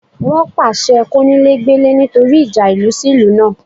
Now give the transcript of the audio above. Wọ́n pàṣẹ kónílé gbélé nítorí ìjà ìlú sí ìlú náà